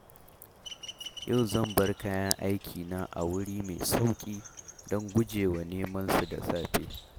Yau zan bar kayan aikina a wuri mai sauƙi don gujewa nemansu da safe